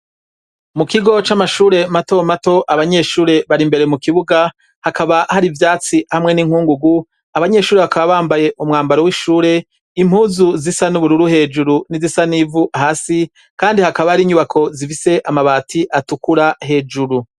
Mu kigo c'amashure mato mato abanyeshure bari imbere mu kibuga hakaba hari ivyatsi hamwe n'inkungugu abanyeshuri bakaba bambaye umwambaro w'ishure impuzu zisa n'ubururu hejuru n'izisa n'ivu hasi kandi hakaba hari inyubako zifise amabati atukura hejuru.